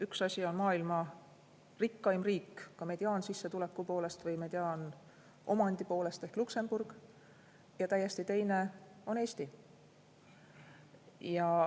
Üks asi on maailma rikkaim riik, ka mediaansissetuleku poolest või mediaanomandi poolest, ehk Luksemburg ja täiesti teine asi on Eesti.